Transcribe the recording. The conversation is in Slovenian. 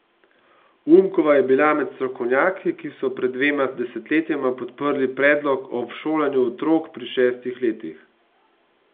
Umkova je bila med strokovnjaki, ki so pred dvema desetletjema podprli predlog o všolanju otrok pri šestih letih.